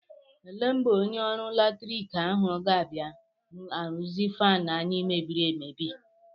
Ele mgbe onye ọrụ latrik ahụ ga-abịa arụzi faanụ anyị mebiri emebi?